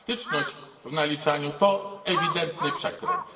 elastyczność w naliczaniu, to ewidentny przekręt.